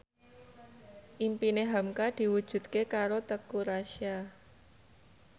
impine hamka diwujudke karo Teuku Rassya